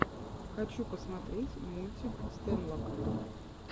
хочу посмотреть мультик стэнлока